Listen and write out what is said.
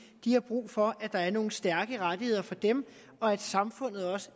har brug for at der er nogle stærke rettigheder for dem og at samfundet også